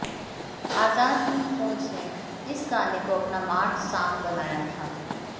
आजाद हिंद फौज ने इस गाने को अपना मार्च सांग बनाया था